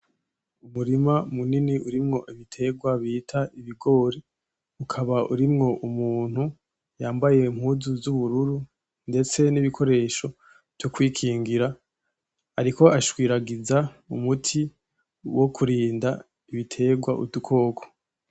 Umurima munini urimwo ibitegwa bita ibigori, ukaba urimwo umuntu yambaye impuzu z’ubururu ndetse n’ibikoresho vyokwikingira, ariko ashwiragiza umuti wokurinda ibitegwa udukoko.